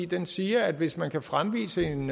den siger at hvis man kan fremvise en